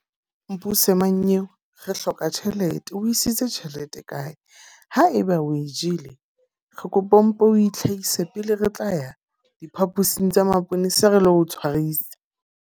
Mpuse mmanyeo, re hloka tjhelete. O isitse tjhelete kae? Ha eba o e jele, re kopa o mpo o itlhahise pele re tla ya diphapusing tsa maponesa re lo tshwarisa.